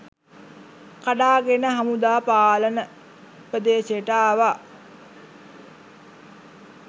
කඩාගෙන හමුදා පාලන ප්‍රදේශයට ආවා